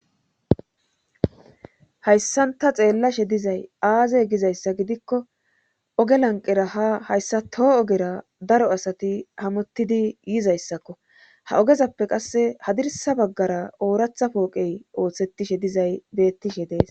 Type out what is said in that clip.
Hayssanta xeellashe dizay aaze gizayssa gidikko oge lanqera ha hayssa toho ogera daro asati hamottidi yizayssakko ha ogezappe qasse hadirsa baggara ooratha pooqey ooththetishe dizay beettishe dees.